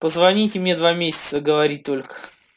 позвоните мне два месяца говорит только